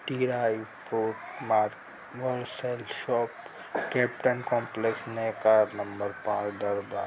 market Bansal shop Kaptan complex number